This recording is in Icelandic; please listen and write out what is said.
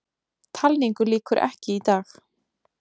Talningu lýkur ekki í dag